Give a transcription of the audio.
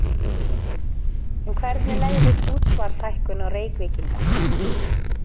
En hvernig legðist útsvarshækkun á Reykvíkinga?